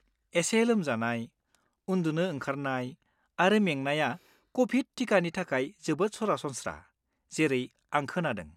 एसे लोमजानाय, उन्दुनो ओंखारनाय आरो मेंनाया क'भिड टिकानि थाखाय जोबोद सरासनस्रा, जेरै आं खोनादों।